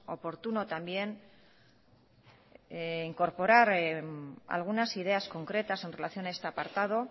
oportuno también incorporar algunas ideas concretas en relación a este apartado